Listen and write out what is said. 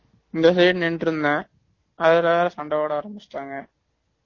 இந்த side நின்னுட்டு இருந்தேன் அதுல வேற சண்ட போடா ஆரம்பிச்சுட்டாங்க